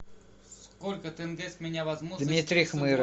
сколько тенге с меня возьмут дмитрий хмыров